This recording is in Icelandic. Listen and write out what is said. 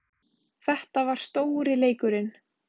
Þetta var stóri leikurinn